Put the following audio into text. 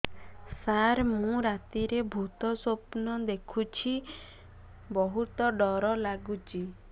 ସାର ମୁ ରାତିରେ ଭୁତ ସ୍ୱପ୍ନ ଦେଖୁଚି ବହୁତ ଡର ଲାଗୁଚି